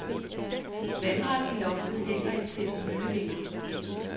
Vandret i loftet hænger et sæt møllevinger.